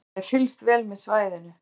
Það er fylgst vel með svæðinu